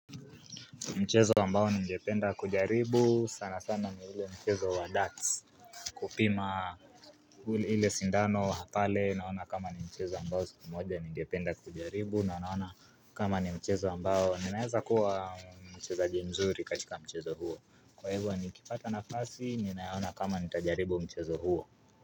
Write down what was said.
Mchezo ambao ningependa kujaribu sana sana ni ule mchezo wa DATS kupima uli ile sindano wa pale naona kama ni mchezo ambao sikumoja ningependa kujaribu na naona kama ni mchezo ambao ninaeza kuwa mchezaji mzuri katika mchezo huo kwa hivyo nikipata nafasi ninaona kama nitajaribu mchezo huo.